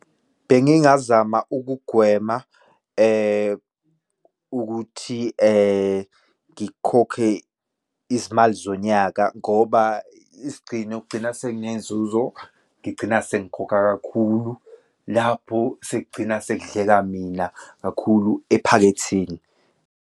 Bengingazama ukugwema ukuthi ngikhokhe izimali zonyaka ngoba isigcino kugcina sekunenzuzo, ngigcina sengikhokha kakhulu, lapho sekugcina sekudleka mina kakhulu, ephaketheni.